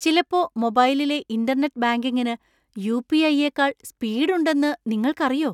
ചിലപ്പോ മൊബൈലിലെ ഇന്‍റർനെറ്റ് ബാങ്കിങ്ങിനു യു.പി.ഐ.യേക്കാൾ സ്പീഡ് ഉണ്ടെന്നു നിങ്ങൾക്കറിയൊ ?